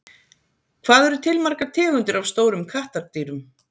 Hvað eru til margar tegundir af stórum kattardýrum?